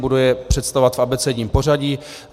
Budu je představovat v abecedním pořadí.